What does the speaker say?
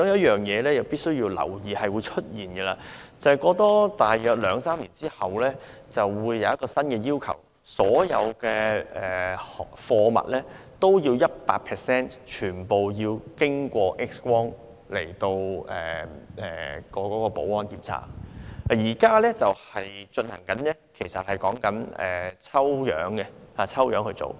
其中必須留意的是，大約兩三年後，國際對空運業會實施一項新要求，就是所有貨物均要 100% 經過 X 光保安檢測，而現行的做法是抽樣檢查。